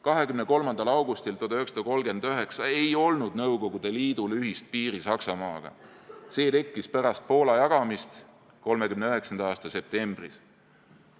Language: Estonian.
23. augustil 1939 ei olnud Nõukogude Liidul ühist piiri Saksamaaga, see tekkis pärast Poola jagamist 1939. aasta septembris.